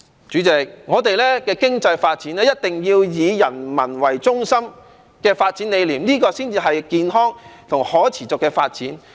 主席，我們的經濟發展一定要以人民為中心，這個發展理念才能達致健康和可持續發展。